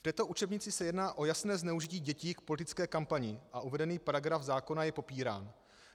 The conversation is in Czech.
V této učebnici se jedná o jasné zneužití dětí k politické kampani a uvedený paragraf zákona je popírán.